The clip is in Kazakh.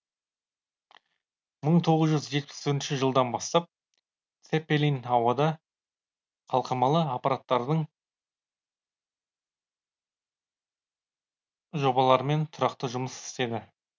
мың сегіз жүз жетпіс төртінші жылдан бастап цеппелин ауада қалқымалы аппараттардың жобаларымен тұрақты жұмыс істеді